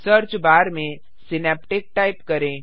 search bar में Synaptic type करें